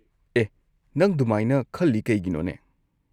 ꯑꯦꯍ, ꯅꯪ ꯗꯨꯃꯥꯏꯅ ꯈꯜꯂꯤ ꯀꯩꯒꯤꯅꯣꯅꯦ?